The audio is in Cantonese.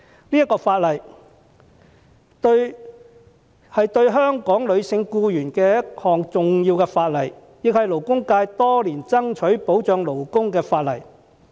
這項法例是對香港的女性僱員的一項重要的法例，亦是勞工界多年以來所爭取保障勞工的法例。